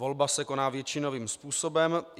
Volba se koná většinovým způsobem.